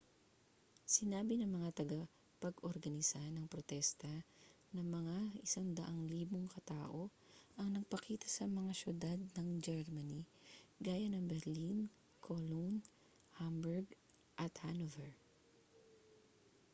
sinabi ng mga tagapag-organisa ng protesta na mga 100,000 ka tao ang nagpakita sa mga syudad ng germany gaya ng berlin cologne hamburg at hanover